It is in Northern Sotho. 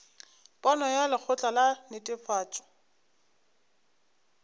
pono ya lekgotla la netefatšo